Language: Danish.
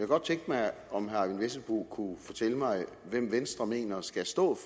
godt tænke mig om herre eyvind vesselbo kunne fortælle mig hvem venstre mener skal stå